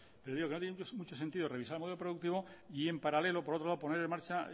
paro ya digo que no tiene mucho sentido revisar el modelo productivo y en paralelo por otro lado poner en marcha